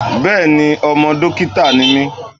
Bẹẹni, ọmọ dókítà ni mí.